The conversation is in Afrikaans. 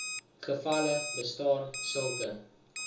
gevalle bestaan sulke